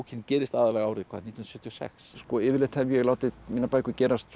gerist aðallega árið hvað nítján hundruð sjötíu og sex yfirleitt hef ég látið mínar bækur gerast